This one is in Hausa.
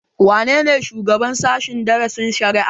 Wane ne shugaban sashen darasin shari'a?